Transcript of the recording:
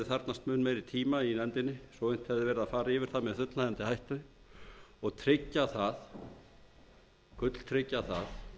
þarfnast mun meiri tíma í nefndinni svo unnt hefði verið að fara yfir það með fullnægjandi hætti og gulltryggja